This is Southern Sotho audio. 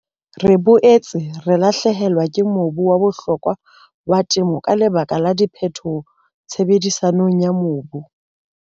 Re boetse re lahlehelwa ke mobu wa bohlokwa wa temo ka lebaka la diphetoho tshebedisong ya mobu.